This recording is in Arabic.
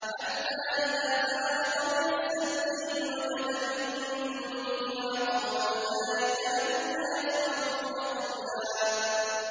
حَتَّىٰ إِذَا بَلَغَ بَيْنَ السَّدَّيْنِ وَجَدَ مِن دُونِهِمَا قَوْمًا لَّا يَكَادُونَ يَفْقَهُونَ قَوْلًا